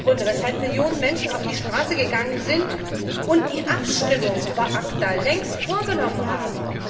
Das sind die Gründe, weshalb Millionen Menschen auf die Straße gegangen sind und die Abstimmung über ACTA längst vorgenommen haben.